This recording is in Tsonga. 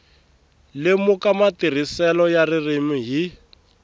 lemuka matirhiselo ya ririmi hi